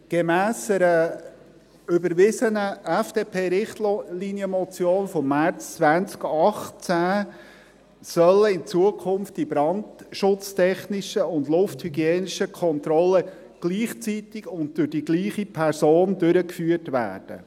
Gemäss einer überwiesenen FDP-Richtlinienmotion vom März 2018 sollen die brandschutztechnischen und lufthygienischen Kontrollen in Zukunft gleichzeitig und durch die gleiche Person durchgeführt werden.